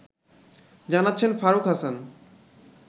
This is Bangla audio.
জানাচ্ছেন ফারুক হাসান